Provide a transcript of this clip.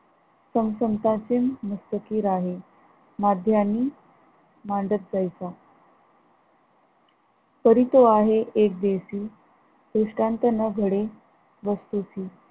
चमचमता सिम मुख्तती राहे मध्यान्ही मांडत जैसा परी तो आहे, एक देशी दृष्टांत न घडे वस्तूशी